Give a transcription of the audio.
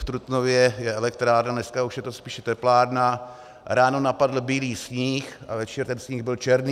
V Trutnově je elektrárna, dneska je to už spíše teplárna - ráno napadl bílý sníh a večer ten sníh byl černý.